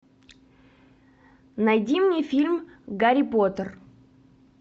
найди мне фильм гарри поттер